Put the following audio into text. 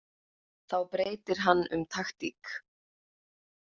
Þá breytir hann um taktík.